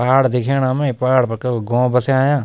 पहाड़ दिखेणा मैं पहाड़ पर कैकु गौं बस्यां।